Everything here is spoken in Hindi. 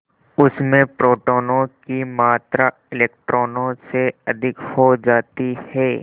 उसमें प्रोटोनों की मात्रा इलेक्ट्रॉनों से अधिक हो जाती है